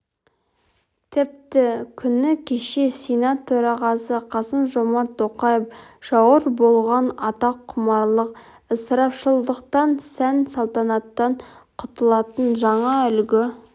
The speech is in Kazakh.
тіпті күні кеше сенат төрағасы қасым-жомарт тоқаев жауыр болған атаққұмарлық ысырапшылдықтан сән-салтанаттан құтылатын жаңа үлгі